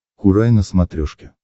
курай на смотрешке